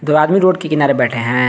दो आदमी रोड के किनारे बैठे हैं।